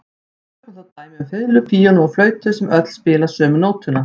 Tökum dæmi um fiðlu, píanó og flautu sem öll spila sömu nótuna.